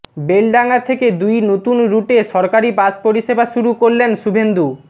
বেলডাঙা থেকে দুই নতুন রুটে সরকারি বাস পরিষেবা শুরু করলেন শুভেন্দু